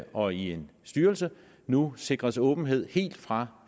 og i en styrelse nu sikres åbenhed helt fra